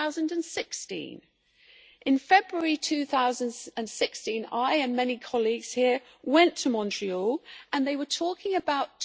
2016. In February 2016, I and many colleagues here went to Montreal and they were talking about